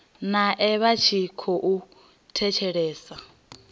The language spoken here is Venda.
nae vha tshi khou thetshelesa